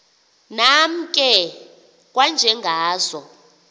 nam ke kwanjengazo